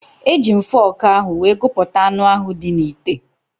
Eji m fọọkụ ahụ wee gụpụta anụ ahụ dị n'ite.